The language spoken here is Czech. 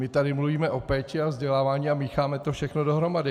My tady mluvíme o péči a vzdělávání a mícháme to všechno dohromady.